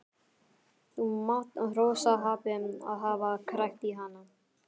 Þú mátt hrósa happi að hafa krækt í hana.